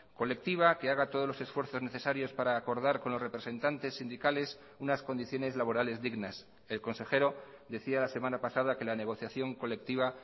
colectiva que haga todos los esfuerzos necesarios para acordar con los representantes sindicales unas condiciones laborales dignas el consejero decía la semana pasada que la negociación colectiva